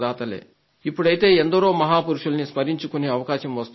ఇప్పుడైతే ఎందరో మహాపురుషుల్ని స్మరించుకునే అవకాశం వస్తోంది